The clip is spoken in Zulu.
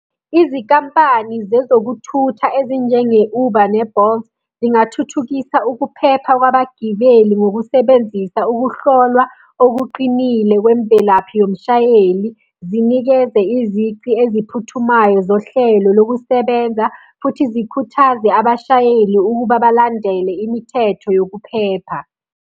Izikampani zezokuthutha ezinjenge-Uber ne-Bolt, zingathuthukisa ukuphepha kwabagibeli ngokusebenzisa ukuhlolwa okuqinile kwemvelaphi yomshayeli. Zinikeze izici eziphuthumayo zohlelo lokusebenza futhi zikhuthaze abashayeli ukuba balandele imithetho yokuphepha.